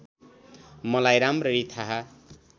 मलाई राम्ररी थाहा